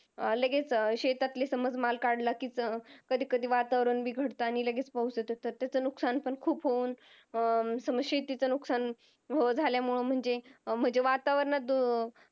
अं लगेच शेतातले समज माल काढला कि कधी कधी वातावरण बिघडत आणि लगेच पाऊस येतात तर त्याच नुकसान पण खूप होऊन अं समज शेतीच नुकसान झाल्यामुळे म्हणजे अं म्हणजे वातावराण